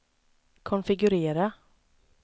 konfigurera